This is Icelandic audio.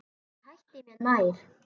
Ég hætti mér nær.